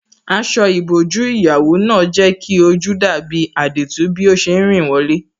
Aṣọ ìbòjú ìyàwó náà jẹ́ kí ojú dàbí àdììtú bí ó ṣe rìn wọlé.